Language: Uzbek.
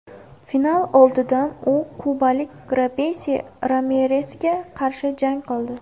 Final oldidan u kubalik Robeysi Ramiresga qarshi jang qildi.